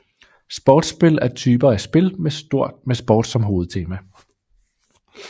Sportsspil er typer af spil med sport som hovedtema